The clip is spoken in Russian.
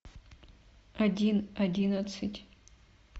один одиннадцать